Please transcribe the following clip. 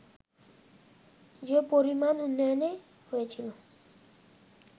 যে পরিমাণ উন্নয়ন হয়েছিল